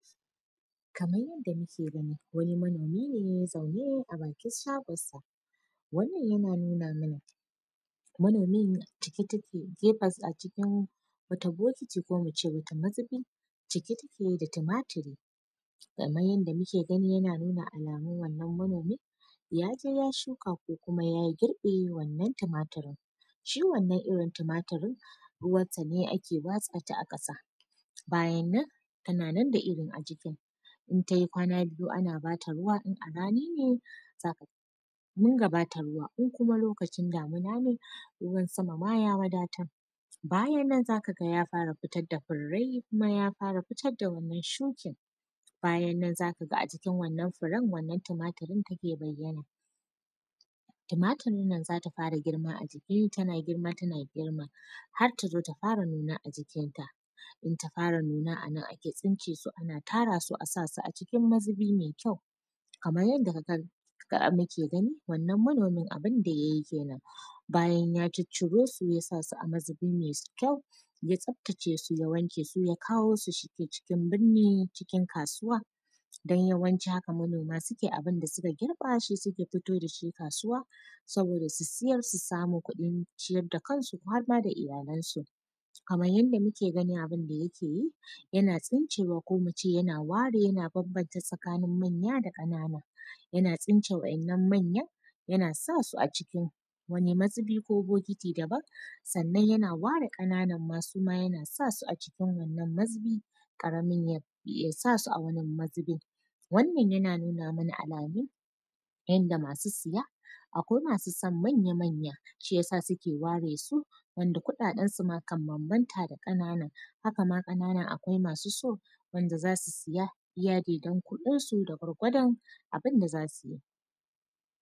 Kamar yadda muke gani wani manomi ne zaune a bakin shagon sa, wannan yana nuna mana manomin cike take a cikin wata bokiti ko muce wata mazubi cike take da tumaturi, kamar yadda muke gani yana nuna alamu wannan manomin yaje ya shuka ko kuma ya girbe wannan tumaturin shi wannan irin tumaturin ruwan ta ne ake matsa ta a kasa bayan nan tana nan da irin ajikin ta in tayi kwana biyu ana bata ruwa in a rani ne zaku diga bata ruwa in kuma lokacin damuna ne ruwan sama ya wadatar bayan nan zakaga ya fara futar da furai kuma ya fara futar da wannan, shukin bayan nan zakaga a jikin furen wannan tumaturin take bayana tumaturi nan zata fara girma a jiki tana girma tana girma har tazo ta fara nuna a jikin ta in ta fara nuna anan ake tsice su ana tara su asasu a cikin mazubi mai kyau, kamar yadda muke gani wannan manomi abin da yayi kenan bayan ya cicciro su ya sasu a mazubi mai kyau ya tsaftace su ya wanke su ya kawo su cikin burni cikin kasuwa don yawanci haka manoma suke yi abun da suka girba shi suke fito da shi kasuwa saboda su siyar su sami kuɗin ciyar da kansu har ma da iyalan su kamar yadda muke gani abun da yake yi yana tsicewa ko muce ware yana banbanta tsakanin manya da kanana yana tsince waɗannan manyan yana sasu a cikin wani mazibi ko bokiti daban sannan yana ware kananan suma yana sasu a cikin wannan mazubi karabin ya sasu a wani mazubin wannan yana nuna mana alamun yadda masu siya akwai masu san manya-manya shi yasa suke ware su wanda kuɗaɗan su kan banbanta da kananan, haka ma kananan akwai masu so wanda zasu siya iya daidan kudinsu da gwargwadon abun da zasu yi.